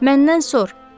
Məndən sor.